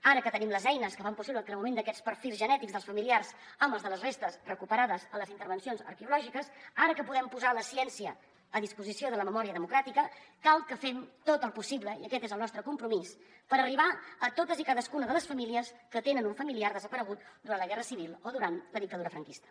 ara que tenim les eines que fan possible el creuament d’aquests perfils genètics dels familiars amb els de les restes recuperades a les intervencions arqueològiques ara que podem posar la ciència a disposició de la memòria democràtica cal que fem tot el possible i aquest és el nostre compromís per arribar a totes i cadascuna de les famílies que tenen un familiar desaparegut durant la guerra civil o durant la dictadura franquista